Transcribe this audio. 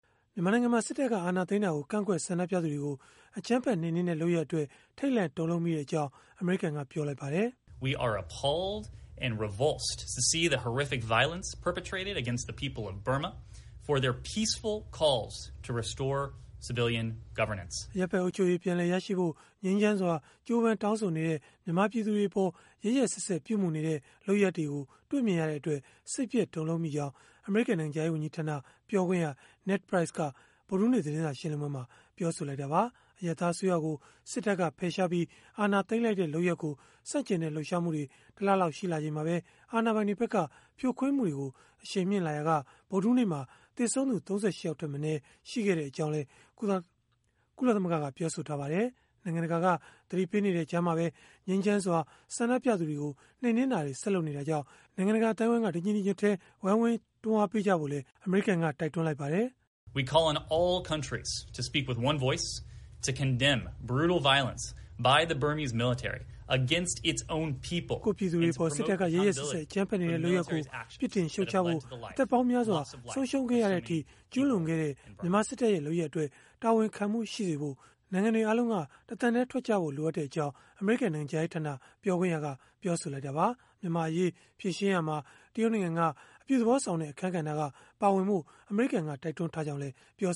မြန်မာနိုင်ငံမှာ စစ်တပ်က အာဏာသိမ်းတာကို ကန့်ကွက်ဆန္ဒပြသူတွေကို အကြမ်းဖက်နှိမ်နင်းတဲ့ လုပ်ရပ်အတွက် ထိတ်လန့်တုန်လှုပ်မိကြောင်း အမေရိကန်က ပြောလိုက်ပါတယ်။ “အရပ်ဖက်အုပ်ချုပ်ရေး ပြန်လည်ရရှိဖို့ ငြိမ်းချမ်းစွာ ကြိုးပမ်းတောင်းဆိုနေတဲ့ မြန်မာပြည်သူတွေအပေါ် ရက်ရက်စက်စက် ပြုမူနေတဲ့ လုပ်ရပ်တွေကို တွေ့မြင်ရတဲ့အတွက် စိတ်ပျက် တုန်လှုပ်မိကြောင်း” အမေရိကန်နိုင်ငံခြားရေး ဝန်ကြီးဌာန ပြောခွင့်ရ Ned Price က ဗုဒ္ဓဟူးနေ့ သတင်းစာရှင်းလင်းပွဲမှာ ပြောဆိုလိုက်တာပါ။ အရပ်သားအစိုးရကို စစ်တပ်က ဖယ်ရှားပြီး အာဏာသိမ်းလိုက်တဲ့ လုပ်ရပ်ကို ဆန့်ကျင်တဲ့ လှုပ်ရှားမှုတွေ တလလောက် ရှိလာချိန်မှာပဲ အာဏာပိုင်တွေဖက်က ဇြိုခွင်းမှုတွေကို အရှိန်မြှင့်လာရာက ဗုဒ္ဓဟူးနေ့မှာ သေဆုံးသူ ၃၈ ယောက်ထက်မနည်း ရှိခဲ့ကြောင်းလည်း ကုလသမဂ္ဂက ပြောဆိုထားပါတယ်။ နိုင်ငံတကာက သတိပေးနေတဲ့ ကြားမှာပဲ ငြိမ်းချမ်းစွာ ဆန္ဒပြသူတွေကို နှိမ်နင်းမှုတွေ ဆက်လုပ်နေတာကြောင့် တညီတညွတ်တည်း ဝိုင်းဝန်း ကြိုးပမ်းကြဖို့လည်း အမေရိကန်က တိုက်တွန်းနေပါတယ်။ “ကိုယ့်ပြည်သူတွေအပေါ် စစ်တပ်က ရက်ရက်စက်စက် အကြမ်းဖက်နေတဲ့ လုပ်ရပ်ကို ပြစ်တင်ရှုတ်ချဖို့ အသက်ပေါင်းများစွာ ဆုံးရှုံးခဲ့ရတဲ့အထိ ကျုးလွန်ခဲ့တဲ့ မြန်မာစစ်တပ်ရဲ့ လုပ်ရပ်အတွက် တာဝန်ခံမှုရှိစေဖို့ နိုင်ငံတွေအားလုံးက တသံတည်း ထွက်ကြဖို့ လိုအပ်ကြောင်း” အမေရိကန် နိုင်ငံခြားရေးဌာန ပြောခွင့်ရက ပြောဆိုလိုက်တာပါ။ မြန်မာ့အရေး ဖြေရှင်းရာမှာ တရုတ်နိုင်ငံက အပြုသဘောဆောင်တဲ့ အခန်းကဏ္ဍက ပါဝင်ဖို့ အမေရိကန်က တိုက်တွန်းထားကြောင်းလည်း ပြော